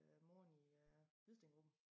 Øh moren i øh Hvidstengruppen